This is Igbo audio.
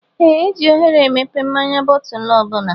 Ee eji oghere emepe mmáñyá bootulu ọbula.